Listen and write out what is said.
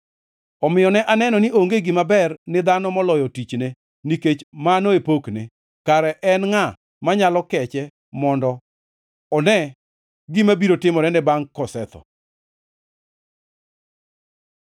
Omiyo ne aneno ni onge gima ber ni dhano moloyo tichne, nikech mano e pokne. Kare en ngʼa manyalo keche mondo one gima biro timorene bangʼe kosetho?